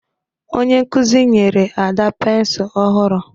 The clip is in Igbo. Onye nkuzi nyere Ada pensụl ọhụrụ